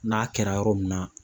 N'a kɛra yɔrɔ min na